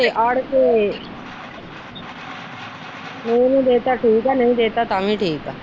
ਅੜ ਕੇ ਨੂਰ ਨੂੰ ਦੇ ਦਿੱਤਾ ਠੀਕ ਆ ਨਹੀਂ ਦੇ ਦਿੱਤਾ ਤਾ ਵੀ ਠੀਕ ਆ।